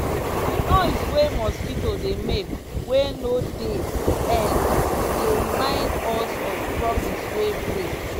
di noise wey mosquito dey make wey no dey end dey remind us of promise wey break.